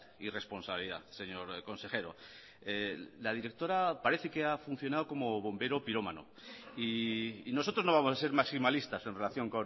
y responsabilidad señor consejero la directora parece que ha funcionado como bombero pirómano y nosotros no vamos a ser maximalistas en relación